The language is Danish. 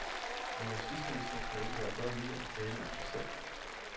Vor justitsminister kan åbenbart godt lide at tale om sig selv.